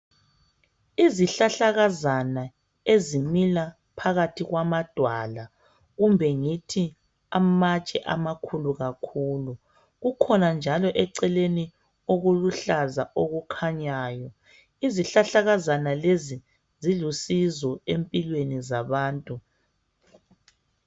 Izihlahlakazana ezimila phakathi kwamadwala kumbe ngithi amatshe amakhulu kakhulu kukhona njalo eceleni okuluhlaza okukhanyayo. Izihlahlakazana lezi zilusizo empilweni zabantu